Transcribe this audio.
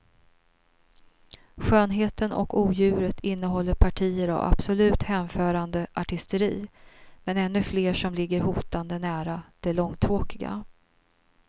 Skönheten och odjuret innehåller partier av absolut hänförande artisteri men ännu fler som ligger hotande nära det långtråkiga.